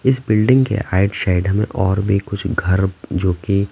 इस बिल्डिंग के आइट साइड हमें और भी कुछ घर जो कि--